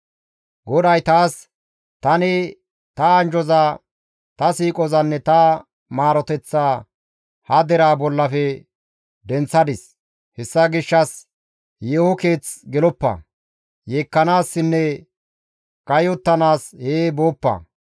GODAY taas, «Tani ta anjjoza, ta siiqozanne ta maaroteththaa ha deraa bollafe denththadis; hessa gishshas yeeho keeth geloppa; yeekkanaassinne kayottanaas hee booppa.